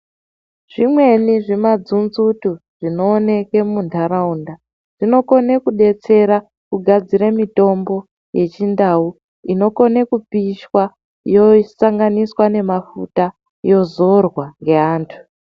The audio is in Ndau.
Zvimweni zvimadzunzutu zvinooneke muntaraunda zvinokone kudetsere kugadzire mitombo yechindau. Inokone kupishwa yosanganiswa nemafuta, yozorwa neantu.